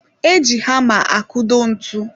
E ji hama akudo ntụ